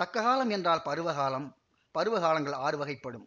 தக்ககாலம் என்றால் பருவகாலம் பருவகாலங்கள் ஆறு வகைப்படும்